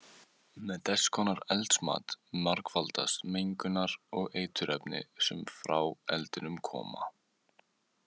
Með þess konar eldsmat margfaldast mengunar- og eiturefnin sem frá eldinum koma.